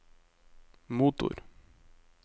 motor